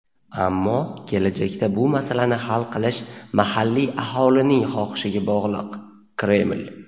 ammo kelajakda bu masalani hal qilish mahalliy aholining xohishiga bog‘liq – Kreml.